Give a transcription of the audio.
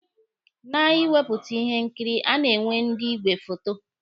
Na ịwepụta ihe nkiri, a na-enwe ndị igwe foto.